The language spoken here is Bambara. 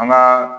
An b'a